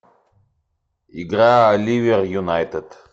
игра ливер юнайтед